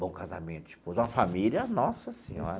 Bom casamento, esposa, uma família... Nossa Senhora!